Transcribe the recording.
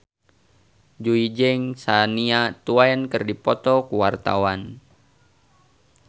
Jui jeung Shania Twain keur dipoto ku wartawan